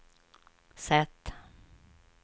sätt